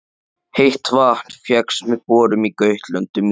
Heitt vatn fékkst með borun á Gautlöndum í